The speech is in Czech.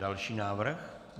Další návrh.